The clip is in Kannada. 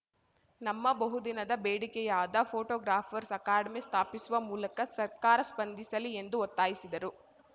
ನಮ್ಮ ಬಹು ದಿನದ ಬೇಡಿಕೆಯಾದ ಫೋಟೋಗ್ರಾಫರ್ಸ್ ಅಕಾಡೆಮಿ ಸ್ಥಾಪಿಸುವ ಮೂಲಕ ಸರ್ಕಾರ ಸ್ಪಂದಿಸಲಿ ಎಂದು ಒತ್ತಾಯಿಸಿದರು